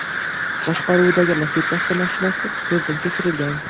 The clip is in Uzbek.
boshqaruvidagi Lacetti avtomashinasi ko‘zdan kechirilgan.